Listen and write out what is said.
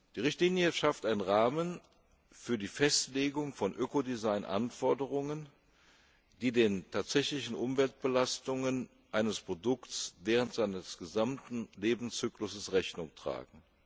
Die Richtlinie schafft einen Rahmen für die Festlegung von Ökodesign Anforderungen, die den tatsächlichen Umweltbelastungen eines Produkts während seines gesamten Lebenszyklus Rechnung tragen.